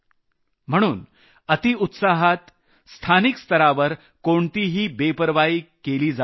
म्हणून अतिउत्साहात स्थानिक स्तरावर कोणतीही बेपर्वाई केली जाऊ नये